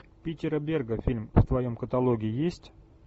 питера берга фильм в твоем каталоге есть